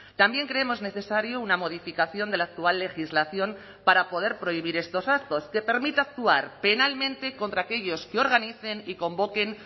también creemos necesario una modificación de la actual legislación para poder prohibir estos actos que permita actuar penalmente contra aquellos que organicen y convoquen